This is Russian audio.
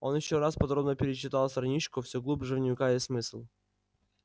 он ещё раз подробно перечитал страничку все глубже вникая в смысл